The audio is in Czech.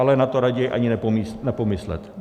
Ale na to raději ani nepomyslet.